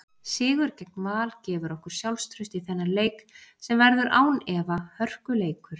Sigur gegn Val gefur okkur sjálfstraust í þennan leik sem verður án efa hörkuleikur.